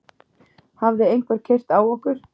Hafði einhver keyrt á okkur?